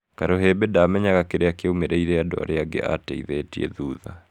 Karuhimbi ndaamenyaga kĩria kĩaumĩrĩire andũ arĩa angĩ aateithetie thutha.